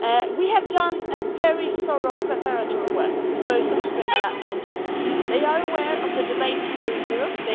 We have done very thorough preparatory work with both Australia and New Zealand they are aware of the debate here in Europe